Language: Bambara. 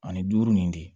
Ani duuru nin de